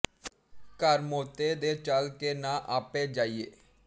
ਘਰ ਮੌਤੇ ਦੇ ਚਲ ਕੇ ਨਾ ਆਪੇ ਜਾਈਏ